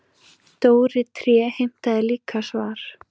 Dóri tré heimtaði líka svar.